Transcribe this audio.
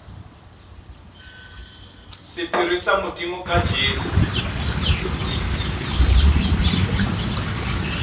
sephiri sa modimo ka jesu